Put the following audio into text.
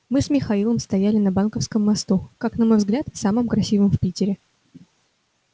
мы с михаилом стояли на банковском мосту как на мой взгляд самом красивом в питере